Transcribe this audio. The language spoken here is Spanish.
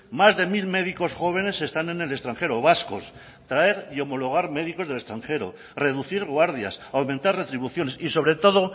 más de mil médicos jóvenes están en el extranjero vascos traer y homologar médicos del extranjero reducir guardias aumentar retribuciones y sobre todo